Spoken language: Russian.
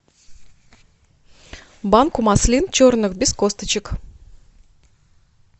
банку маслин черных без косточек